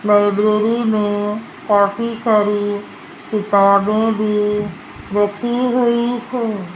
Library में काफी सारी किताबें भी रखी हुई हैं।